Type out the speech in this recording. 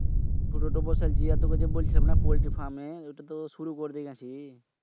ছোটটা বসাইলছি। তুকেনা বইলছিলামনা ফল্টির পার্মে ঐটা তো শুরু করতে গেছি।